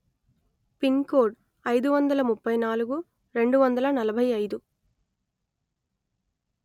pin code అయిదు వందల ముప్పై నాలుగు రెండు వందల నలభై అయిదు